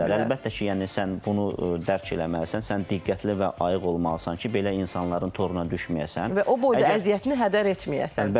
Əlbəttə ki, yəni sən bunu dərk eləməlisən, sən diqqətli və ayıq olmalısan ki, belə insanların toruna düşməyəsən və o boyda əziyyətini hədər etməyəsən.